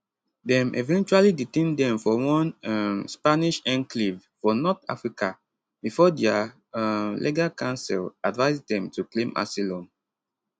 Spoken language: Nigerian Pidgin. dem eventually detain dem for one um spanish enclave for north africa bifor dia um legal counsel advise dem to claim asylum